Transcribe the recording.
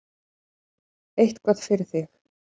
Eitthvað fyrir þig